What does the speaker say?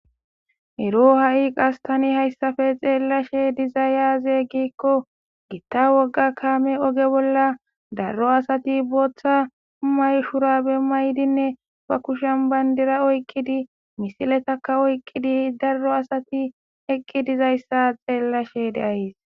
Ero ha'i qas tani hayssafe xeellashe diza yaaze giikko gitta wogga kaame oge bolla darro asati booththa umay shurabe maydinne ba kushen bayndira oyqqidi misiletakka oyqqidi darro asati eqqi dizayssa xeellashe deays.